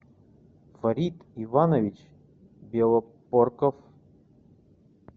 фарид иванович белопорков